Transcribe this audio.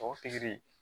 Tɔw pikiri